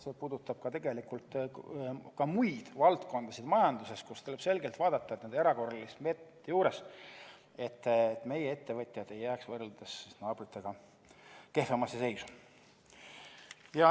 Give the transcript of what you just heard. See puudutab tegelikult ka muid majanduse valdkondi, kus tuleb kindlasti vaadata, et nende erakorraliste meetmete juures meie ettevõtjad ei jääks võrreldes naabritega kehvemasse seisu.